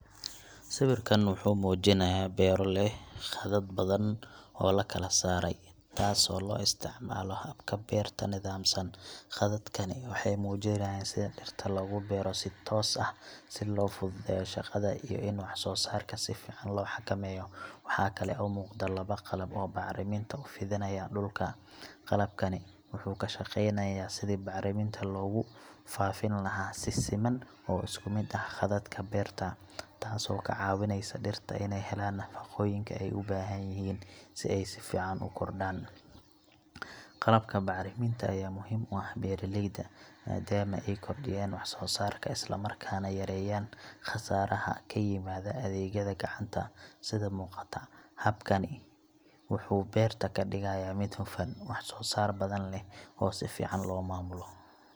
Sawirkaan wuxuu muujinayaa beero leh khadad badan oo la kala saaray, taasoo loo isticmaalo habka beerta nidaamsan. Khadadkani waxay muujinayaan sida dhirta loogu beero si toos ah, si loo fududeeyo shaqada iyo in wax-soo-saarka si fiican loo xakameeyo. Waxa kale oo muuqda laba qalab oo bacriminta u fidinaya dhulka. Qalabkani wuxuu ka shaqeynayaa sidii bacriminta loogu faafin lahaa si siman oo isku mid ah khadadka beerta, taasoo ka caawineysa dhirta inay helaan nafaqooyinka ay u baahan yihiin si ay si fiican u korodhaan. Qalabka bacriminta ayaa muhiim u ah beeralayda, maadaama ay kordhiyaan wax-soo-saarka isla markaana yareeyaan khasaaraha ka yimaada adeegyada gacanta. Sida muuqata, habkani wuxuu beerta ka dhigayaa mid hufan, wax soo saar badan leh, oo si fiican loo maamulo.